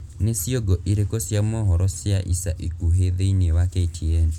ni ciongo irīku cia mohoro cia ica ikuhī thīini wa k.t.n.